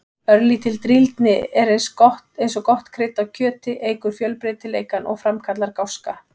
Örlítil drýldni er eins og gott krydd á kjöti, eykur fjölbreytileikann og framkallar gáska.